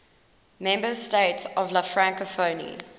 member states of la francophonie